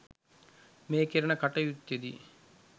මේ කෙරෙන කටයුත්තෙදී